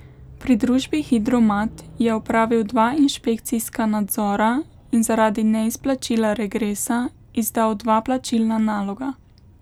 Pri družbi Hidro Mat je opravil dva inšpekcijska nadzora in zaradi neizplačila regresa izdal dva plačilna naloga.